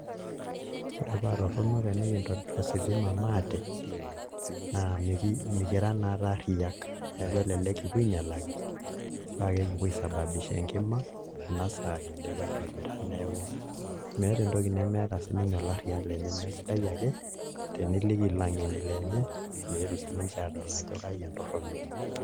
Ore paa torrono tenikintobirr ositima maate naa mekira naatoi arriyiak neeku elelek kipuo ainyialaki paa kakipuo aisababisha enkima ena saa kindipa aitobira neeku meeta entoki nemeeta sininye olarriyia lenye, neeku sidai ake teniliki ilang'eni lenye meetu sininche aadol ajo kaji entorrono.